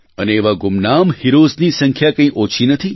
અને એવા ગુમનામ હીરોઝની સંખ્યા કંઇ ઓછી નથી